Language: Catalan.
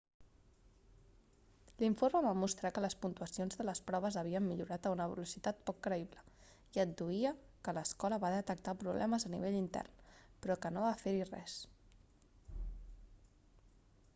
l'informe va mostrar que les puntuacions de les proves havien millorat a una velocitat poc creïble i adduïa que l'escola va detectar problemes a nivell intern però que no va fer-hi res